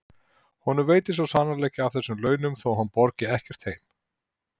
Honum veitir svo sannarlega ekki af þessum launum þó að hann borgi ekkert heim.